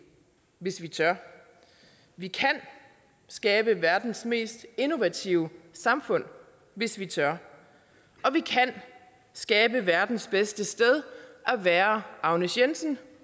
hvis vi tør vi kan skabe verdens mest innovative samfund hvis vi tør og vi kan skabe verdens bedste sted at være agnes jensen